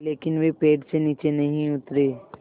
लेकिन वे पेड़ से नीचे नहीं उतरे